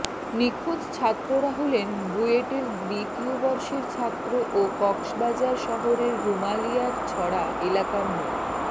নিখোঁজ ছাত্ররা হলেন রুয়েটের দ্বিতীয় বর্ষের ছাত্র ও কক্সবাজার শহরের রুমালিয়ারছড়া এলাকার মো